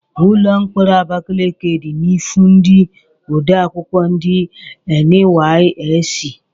Ụlọ mkpọrọ Abakaliki dị n'ihu ndị odeakwụkwọ ndi NYSC.